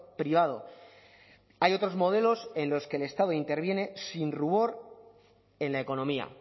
privado hay otros modelos en los que el estado interviene sin rubor en la economía